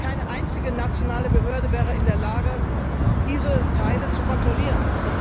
Keine einzige nationale Behörde wäre in der Lage, diese Teile zu kontrollieren.